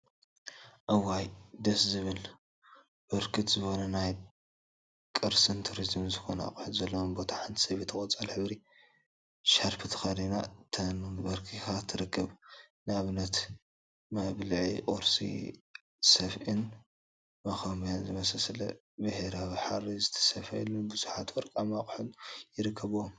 እዋይ ደስ ዝብል! ብርክት ዝበሉ አብ ናይ ቅርሲን ቱሪዝምን ዝኮኑ አቁሑት ዘለውዎ ቦታ ሓንቲ ሰበይቲ ቆፃል ሕብሪ ሻርፒ ተከዲና ተንበርኪካ ትርከብ፡፡ ንአብነት ከም መብልዒ ቁርሲ፣ ሰፍኢን መከምበያን ዝብሃሉ ብሕብራዊ ሃሪ ዝተሰፈዩን ቡዙሓት ወርቃማ አቁሑን ይርከቡዎም፡፡